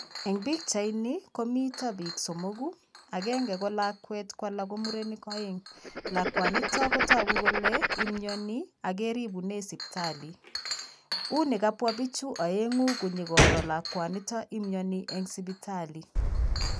Eng' pikchaini komito biik somoku, akenge ko lakwet alake ko murenik aeng'. Lakwanito kotagu kole imioni ak keribune sipitali. Uni kabwa bichu aenng'u konyokoro lakwanito imioni eng' sipitali.